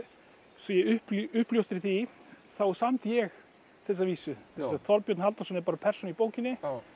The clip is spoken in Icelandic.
svo ég uppljóstri því þá samdi ég þessa vísu Þorbjörn Halldórsson er bara persóna í bókinni